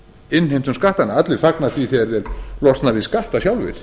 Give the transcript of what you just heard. innheimtum skattana allir fagna því þegar þeir losna við skatta sjálfir